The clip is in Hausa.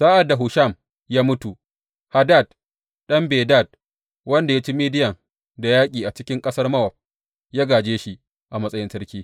Sa’ad da Husham ya mutu, Hadad ɗan Bedad, wanda ya ci Midiyan da yaƙi a cikin ƙasar Mowab, ya gāje shi a matsayin sarki.